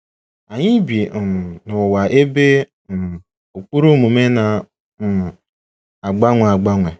ANYỊ bi um n’ụwa ebe um ụkpụrụ omume na um - agbanwe agbanwe.